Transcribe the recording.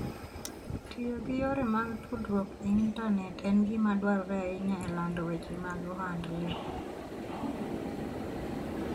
Tiyo gi yore mag tudruok e intanet en gima dwarore ahinya e lando weche mag ohand le.